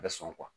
A bɛ sɔn